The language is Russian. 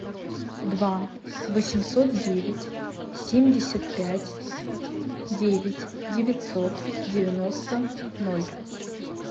два восемьсот девять семьдесят пять девять девятьсот девяносто ноль